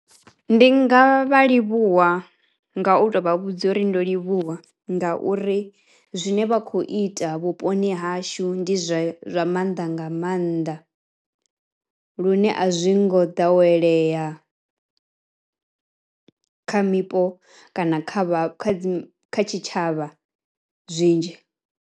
Ndi nga vha livhuwa nga u to vha vhudza uri ndo livhuwa ngauri zwine vha khou ita vhuponi hashu ndi zwa zwa mannḓa nga mannḓa lune a zwi ngo ḓowelea kha mipo kana kha vha kha dzi kha tshitshavha zwinzhi.